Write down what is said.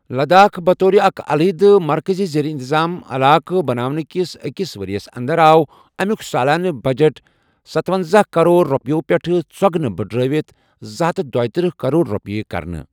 لداخ بطور اكھ علاحدٕ مركزی ریر انتظام علاقہٕ بناونٕہٕ كِس اكِس وریس اندر آو امِیوٗك سالانہٕ بجٹ ستۄنزاہ كرور روپیو پیٹھہٕ ژوگنہٕ بٕڈرٲوِتھ زٕ ہتھ دٔیتٕرہ كرور روپیہِ كرنہٕ ۔